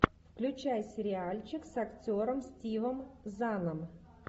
включай сериальчик с актером стивом заном